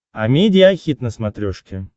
амедиа хит на смотрешке